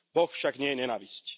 Boh však nie je nenávisť.